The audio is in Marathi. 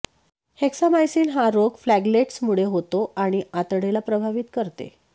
हेक्सामाईसीन हा रोग फ्लॅगेलेट्समुळे होतो आणि आतडेला प्रभावित करते